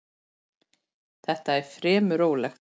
Þetta er fremur rólegt.